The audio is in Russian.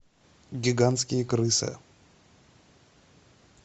гигантские крысы